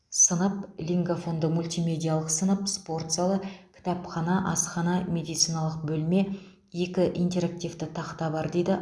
сынып лингафонды мультимедиялық сынып спорт залы кітапхана асхана медициналық бөлме екі интерактивті тақта бар дейді